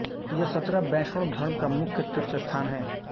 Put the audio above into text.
यह सतरा वैष्णव धर्म का मुख्य तीर्थस्थान है